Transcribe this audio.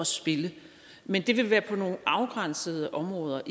spille men det vil være på nogle afgrænsede områder